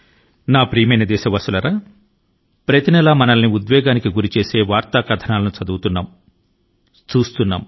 నా ప్రియమైన దేశవాసులారా ప్రతి మాసం మనం మన హృదయాల ను స్పర్శించేటటువంటి వార్తల ను చదువుతున్నాం ఇంకా చూస్తున్నాము